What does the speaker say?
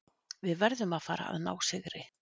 Við verðum að fara að ná sigri.